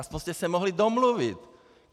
Aspoň jste se mohli domluvit.